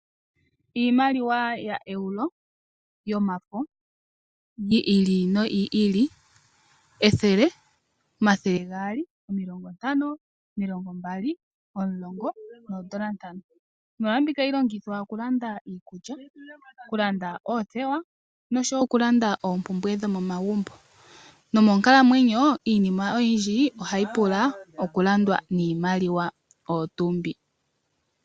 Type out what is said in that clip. Iimaliwa yoEuro yomafo yi ili noyi ili, ethele, omathele gaali, omilongo ntano, omilongo mbali, omulongo noondola ntano. Iimaliwa mbika ohayi longithwa oku landa iikulya, oku landa oothewa noshowo oku landa oompumbwe dhomomagumbo. Nomoonkalamwenyo iinima oyindji ohayi pula oku landwa niimaliwa oyo tuu mbi.